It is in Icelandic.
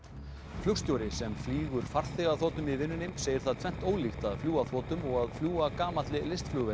flugstjóri sem flýgur farþegaþotum í vinnunni segir það tvennt ólíkt að fljúga þotum og að fljúga gamalli